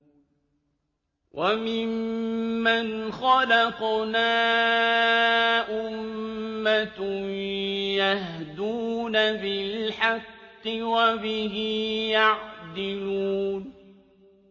وَمِمَّنْ خَلَقْنَا أُمَّةٌ يَهْدُونَ بِالْحَقِّ وَبِهِ يَعْدِلُونَ